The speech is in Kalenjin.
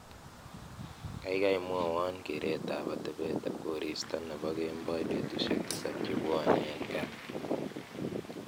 gaigai mwowon kereet ab atebet koristo nepo kemboi betusiek tisab chebwone en gaa